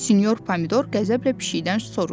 Sinyor pomidor qəzəblə pişikdən soruşdu.